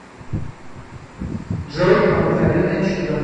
джой обыкновенное чудо